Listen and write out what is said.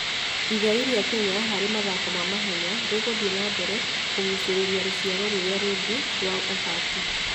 Igai rĩa Kenya harĩ mathako ma mahenya rĩgũthiĩ na mbere kũgucĩrĩria rũciaro rũrĩa rũngĩ rwa athaki.